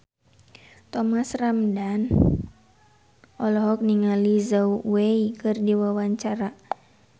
Thomas Ramdhan olohok ningali Zhao Wei keur diwawancara